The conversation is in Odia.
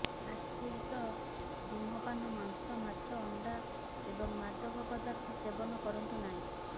ଫାଷ୍ଟଫୁଡ ସହ ଧୂମପାନ ମାଂସ ମାଛ ଅଣ୍ଡା ଏବଂ ମାଦକ ପଦାର୍ଥ ସେବନ କରନ୍ତୁ ନାହିଁ